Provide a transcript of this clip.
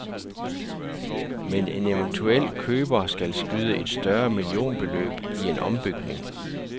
Men en eventuel køber skal skyde et større millionbeløb i en ombygning.